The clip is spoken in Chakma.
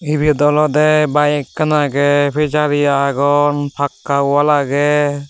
ebet olodey bayek ekkan agey pejari agon pakka wall agey.